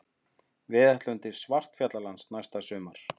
Við ætlum til Svartfjallalands næsta sumar.